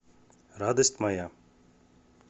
радость моя